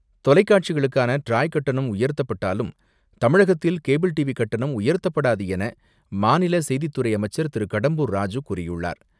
தொலைக்காட்சிகளுக்கான TRAI கட்டணம் உயர்த்தப்பட்டாலும் தமிழகத்தில் கேபிள் டிவி கட்டணம் உயர்த்தப்படாது என மாநில செய்தித்துறை அமைச்சர் திரு.கடம்பூர் ராஜு கூறியுள்ளார்.